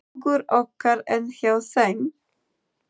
Hugur okkar er hjá þeim.